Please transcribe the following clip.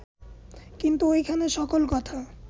কিন্তু ঐখানে সকল কথা